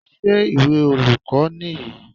Ṣé ìwé olùkọ́ nìyí?